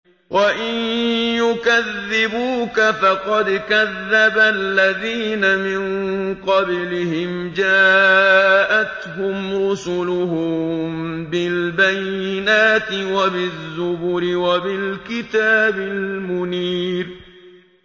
وَإِن يُكَذِّبُوكَ فَقَدْ كَذَّبَ الَّذِينَ مِن قَبْلِهِمْ جَاءَتْهُمْ رُسُلُهُم بِالْبَيِّنَاتِ وَبِالزُّبُرِ وَبِالْكِتَابِ الْمُنِيرِ